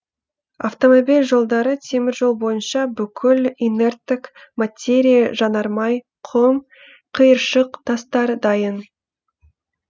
автомобиль жолдары теміржол бойынша бүкіл инерттік материа жанармай құм қиыршық тастар дайын